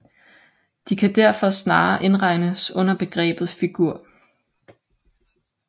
De kan derfor snarere indregnes under begrebet figur